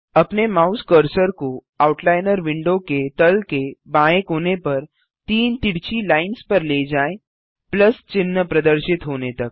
अपने mouse cursor को outliner window के तल के बाएँ कोने पर तीन तिरछी लाइन्स पर ले जाएँ प्लस चिन्ह प्रदर्शित होने तक